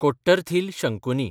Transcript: Kottarathil Shankuni